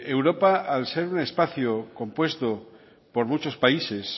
europa al ser un espacio compuesto por muchos países